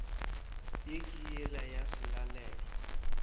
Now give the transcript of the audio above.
ye ke yela ya selalelo